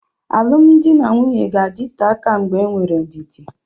Alụmdi na nwunye ga-adịte aka mgbe enwere ndidi.